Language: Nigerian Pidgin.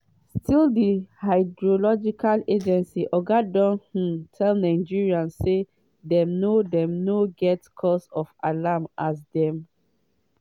still di hydrological agency oga don um tell nigerians say dem no dem no get “cause for alarm” as dem